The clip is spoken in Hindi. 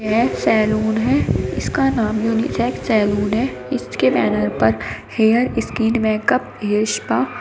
यह एक सैलून है। इसका नाम यूनिसेक्स सैलून है। इसके बैनर पर hair skin makeup hair spa --